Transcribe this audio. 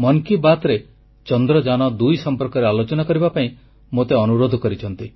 ମନ କି ବାତ୍ରେ ଚନ୍ଦ୍ରଯାନ2 ସମ୍ପର୍କରେ ଆଲୋଚନା କରିବା ପାଇଁ ମୋତେ ଅନୁରୋଧ କରିଛନ୍ତି